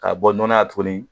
Ka bɔ nɔnɔya tuguni